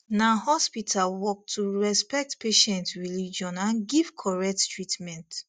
na hospital work to respect patient religion and give correct treatment